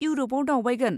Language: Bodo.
इउर'पाव दावबायगोन।